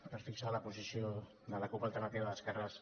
per fixar la posició de la cup alternativa d’esquerres